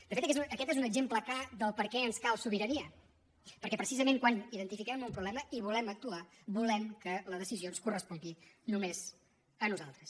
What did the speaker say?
de fet aquest és un exemple clar de per què ens cal sobirania perquè precisament quan identifiquem un problema hi volem actuar volem que la decisió ens correspongui només a nosaltres